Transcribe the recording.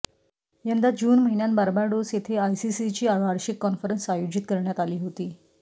यंदा जून महिन्यात बार्बाडोस येथे आयसीसीची वार्षिक कॉन्फरन्स आयोजित करण्यात आली होती